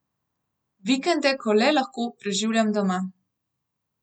Vikende, ko le lahko, preživljam doma.